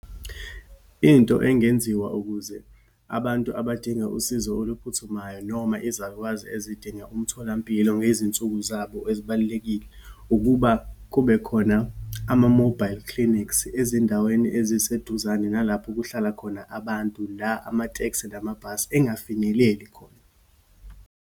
Into engenziwa ukuze abantu abadinga usizo oluphuthumayo noma izalukazi ezidinga umtholampilo ngezinsuku zabo ezibalulekile, ukuba kube khona ama-mobile clinics, ezindaweni eziseduzane nalapho kuhlala khona abantu, la amatekisi namabhasi engafinyeleli khona.